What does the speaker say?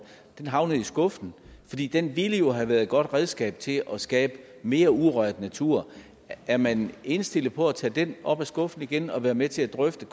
havnede i skuffen den ville ellers have været et godt redskab til at skabe mere urørt natur er man indstillet på at tage den op af skuffen igen og være med til at drøfte